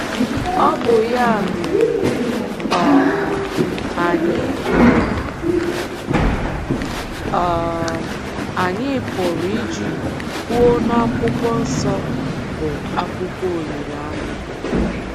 Ọ bụ ya mere um anyị pụrụ um anyị pụrụ iji kwuo n'akwụkwọ nsọ bụ akwụkwọ olileanya.